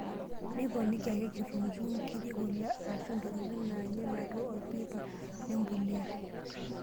Miponiki ake:Kitunguu, nkiri, kule arashu ntokitin naanyil atua orpipa lempuliya.